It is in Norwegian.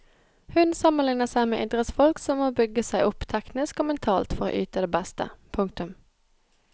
Hun sammenligner seg med idrettsfolk som må bygge seg opp teknisk og mentalt for å yte det beste. punktum